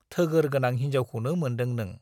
थोगोर गोनां हिन्जावखौनो मोनदों नों।